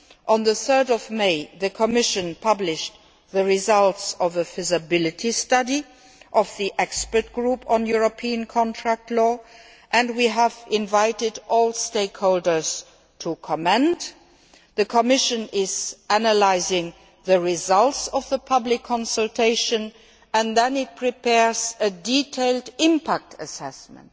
On 3 May 2011, the Commission published the results of a feasibility study by the Expert Group on European contract law and we invited all stakeholders to comment. The Commission is analysing the results of the public consultation and then it will prepare a detailed impact assessment